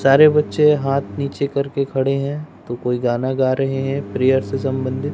सारे बच्चे हाथ नीचे करके खड़े हैं तो कोई गाना गा रहे हैं प्रेयर से संबंधित--